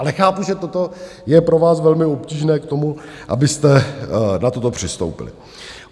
Ale chápu, že toto je pro vás velmi obtížné k tomu, abyste na toto přistoupili.